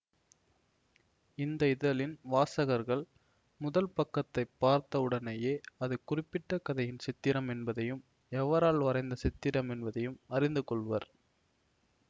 இந்த இதழின் வாசகர்கள் முதல் பக்கத்தைப் பார்த்தவுடனேயே அது குறிப்பிட்ட கதையின் சித்திரம் என்பதையும் எவரால் வரைந்த சித்திரம் என்பதையும் அறிந்துக்கொள்வர்